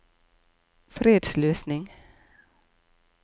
fredsløsning